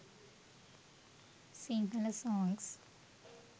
sinhala songs